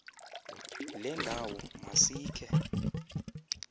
le ndawo masikhe